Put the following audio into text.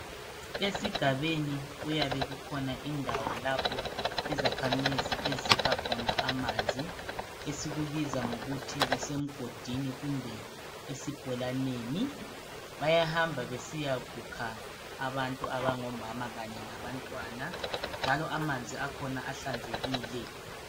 Esigabeni kuyabe kukhona indawo lapho izakhamizi ezikha khona amanzi esikubiza ngokuthi kusemgodini kumbe esibholaneni. Bayahamba besiyakukha abantu abangomama kanye labantwana njalo amanzi akhona ahlanzekile.